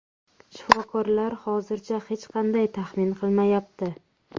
Shifokorlar hozircha hech qanday taxmin qilmayapti.